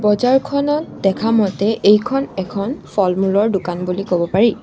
বজাৰখনত দেখা মতে এইখন এখন ফলমূলৰ দোকান বুলি ক'ব পাৰি।